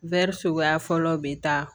suguya fɔlɔ bɛ taa